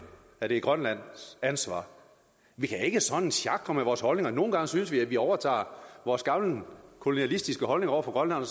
at det er grønlands ansvar vi kan ikke sådan sjakre med vores holdninger nogle gange synes vi vi overtager vores gamle kolonialistiske holdninger over for grønland